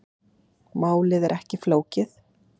Málið er ekki flókið.